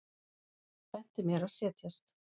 Benti mér að setjast.